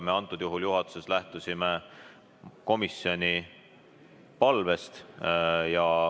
Kõnealusel juhul lähtusime me juhatuses komisjoni palvest.